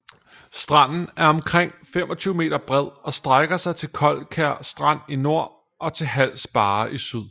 Stranden er omkring 25 m bred og strækker sig til Koldkær Strand i nord og til Hals Barre i syd